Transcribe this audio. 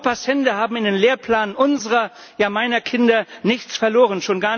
Europas Hände haben in dem Lehrplan unserer, ja meiner Kinder nichts verloren.